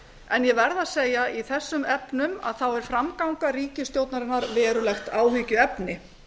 en ég verð að segja að í þessum efnum er framganga ríkisstjórnarinnar verulegt áhyggjuefni